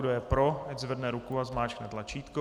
Kdo je pro, ať zvedne ruku a zmáčkne tlačítko.